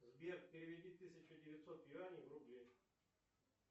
сбер переведи тысяча девятьсот юаней в рубли